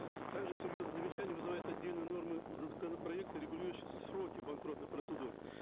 также серьезные замечания вызывают отдельные нормы законопроекта регулирующего сроки банкротных процедур